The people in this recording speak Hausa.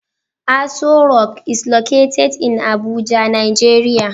Asorock is located in Abuja Nigeria